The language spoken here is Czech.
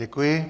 Děkuji.